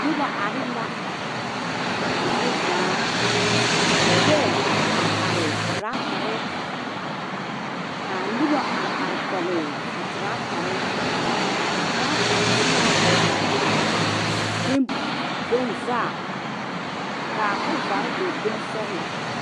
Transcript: Noba are la a zie zaa ka lɔɛ a are are teraatare k,a noba are are kɔge a teraatare a teraata e la bone bone vaa k,a kɔvare e bonesɔglɔ.